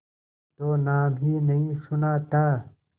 तो नाम ही नहीं सुना था